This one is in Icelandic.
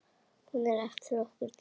Hún er eftir okkur Dídí.